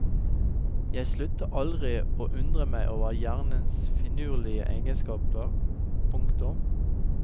Jeg slutter aldri å undre meg over hjernes finurlige egenskaper. punktum